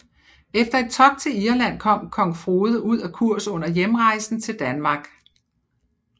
Efter et togt til Irland kom kong Frode ud af kurs under hjemrejsen til Danmark